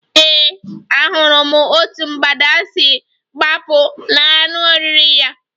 Ee, ahụrụ m otú mgbada si gbapụ n'anụ oriri ya